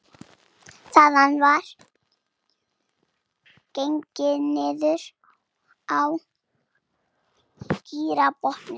Þaðan var gengið niður á gígbotninn